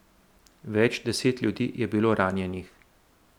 Več deset ljudi je bilo ranjenih.